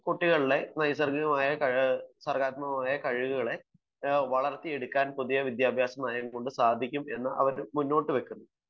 കുട്ടികളിലെ നൈസർഗ്ഗികമായ സർഗ്ഗാത്മകമായ കഴിവുകളെ വളർത്തിയെടുക്കാൻ പുതിയ വിദ്യാഭ്യാസ നയം കൊണ്ട് സാധിക്കും എന്ന് അവർ മുന്നോട്ടു വെക്കുന്നത്